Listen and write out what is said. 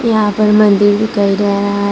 यहां पर मंदिर दिखाई दे रहा है।